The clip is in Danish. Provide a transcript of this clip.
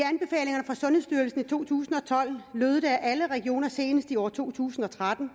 to tusind og tolv lød det at alle regioner senest i år to tusind og tretten